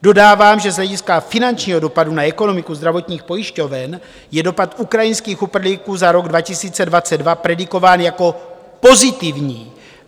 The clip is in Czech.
Dodávám, že z hlediska finančního dopadu na ekonomiku zdravotních pojišťoven je dopad ukrajinských uprchlíků za rok 2022 predikován jako pozitivní.